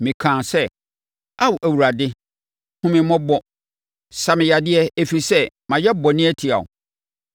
Mekaa sɛ, “Ao Awurade hunu me mmɔbɔ; sa me yadeɛ, ɛfiri sɛ mayɛ bɔne atia wo.”